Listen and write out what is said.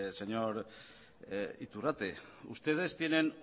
señor iturrate ustedes tienen